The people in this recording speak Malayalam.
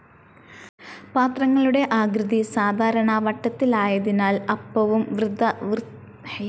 പാത്രങ്ങളുടെ ആകൃതി സാധാരണ വട്ടത്തിലായതിനാൽ അപ്പവും വൃത്താകൃതിയിലായിരിക്കും.